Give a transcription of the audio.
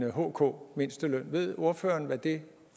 en hk mindsteløn ved ordføreren hvad det